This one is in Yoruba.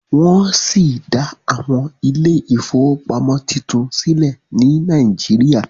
wón sí dá Àwọn Ilé ìfowópamọ́ títún sílè ni Naijiria